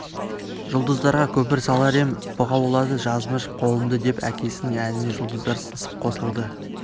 жұлдыздарға көпір салар ем бұғаулады жазмыш қолымды деп әкесінің әніне жұлдыздар сыңсып қосылды